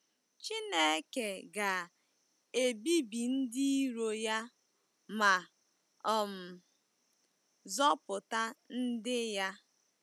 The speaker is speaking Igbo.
Chineke ga-ebibi ndị iro ya ma um zọpụta ndị ya.